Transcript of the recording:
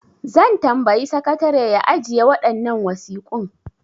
Zan tambayi sakatare ya ajiye waɗannan wasiƙun.